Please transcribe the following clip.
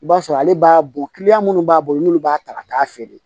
I b'a sɔrɔ ale b'a bɔ minnu b'a bolo n'u b'a ta ka taa feere